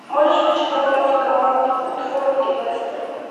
можешь включить трансляцию команд уотфорд и лестер